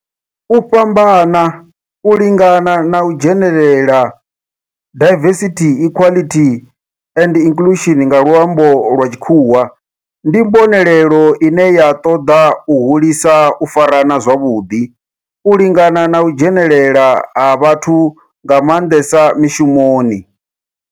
U fhambana, u lingana na u dzhenelela, diversity, equality and inclusion nga lwambo lwa tshikhuwa, ndi mbonelelo ine ya toda u hulisa u farana zwavhudi, u lingana na u dzhenelela ha vhathu nga mandesa mishumoni.